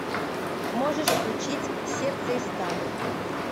можешь включить сердце из стали